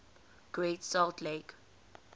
great salt lake